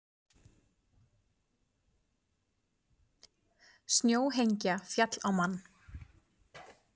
Snjóhengja féll á mann